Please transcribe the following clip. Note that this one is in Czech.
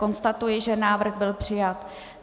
Konstatuji, že návrh byl přijat.